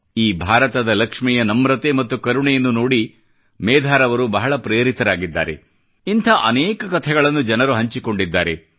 ಈ ಭಾರತದ ಲಕ್ಷ್ಮಿಯ ನಮ್ರತೆ ಮತ್ತು ಕರುಣೆಯನ್ನು ನೋಡಿ ಮೇಧಾರವರು ಬಹಳ ಪ್ರೇರಿತರಾಗಿದ್ದಾರೆ ಇಂಥ ಅನೇಕ ಕಥೆಗಳನ್ನು ಜನರು ಹಂಚಿಕೊಂಡಿದ್ದಾರೆ